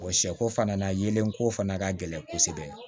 sɛ ko fana na yelen ko fana ka gɛlɛn kosɛbɛ